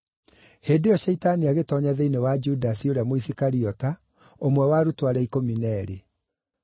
Hĩndĩ ĩyo Shaitani agĩtoonya thĩinĩ wa Judasi ũrĩa Mũisikariota, ũmwe wa arutwo arĩa ikũmi na eerĩ.